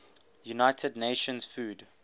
united nations food